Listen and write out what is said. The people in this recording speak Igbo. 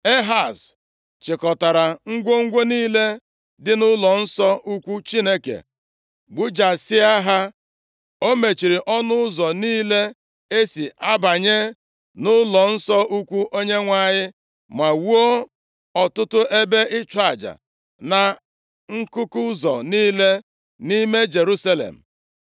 Ehaz chịkọtara ngwongwo niile dị nʼụlọnsọ ukwu Chineke, gbujasịa ha. O mechiri ọnụ ụzọ niile e si abanye nʼụlọnsọ ukwu Onyenwe anyị, ma wuo ọtụtụ ebe ịchụ aja na nkuku ụzọ niile nʼime Jerusalem.